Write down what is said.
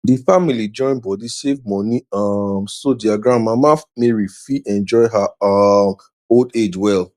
d family join body save moni um so their grand mama mary fit enjoy her um old age well